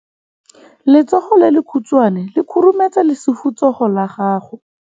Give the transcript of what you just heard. Letsogo le lekhutshwane le khurumetsa lesufutsogo la gago.